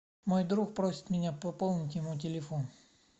мой друг просит меня пополнить ему телефон